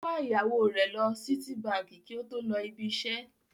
Ó wa ìyàwó rẹ̀ lọ Sítíbaǹkì kí ó tó lọ ibi-iṣẹ́.